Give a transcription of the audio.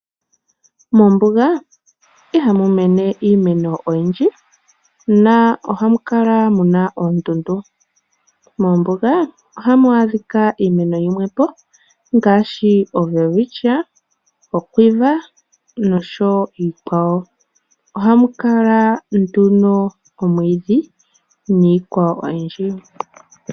Mombunga ihamu mene iimeno oyindji , na oha mukala muna ondundu, mombunga ohamu adhika iimeno yimwepo ngashi o welewityiya, okwiva , nosho wo iikwawo, ohamu kala nduno omwidhi nikwawo oyindji.